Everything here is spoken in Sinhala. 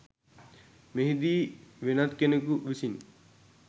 මෙහිදී වෙනත් කෙනෙකු විසින්